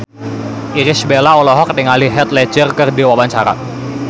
Irish Bella olohok ningali Heath Ledger keur diwawancara